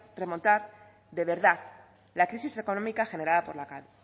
remontar de verdad la crisis económica generada